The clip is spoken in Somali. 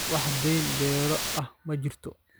Wax deyn beero ah ma jirto